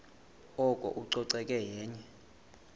oko ucoceko yenye